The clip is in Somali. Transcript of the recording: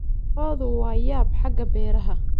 Lo'du waa yaab xagga beeraha.